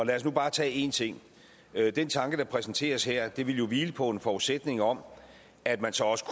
i lad os nu bare tage én ting den tanke der præsenteres her vil jo hvile på en forudsætning om at man så også